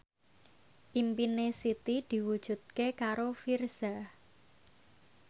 impine Siti diwujudke karo Virzha